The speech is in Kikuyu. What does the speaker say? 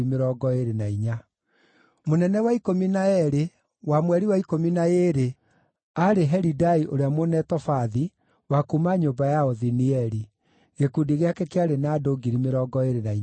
Mũnene wa ikũmi na eerĩ, mweri wa ikũmi na ĩĩrĩ, aarĩ Helidai ũrĩa Mũnetofathi, wa kuuma nyũmba ya Othinieli. Gĩkundi gĩake kĩarĩ na andũ 24,000.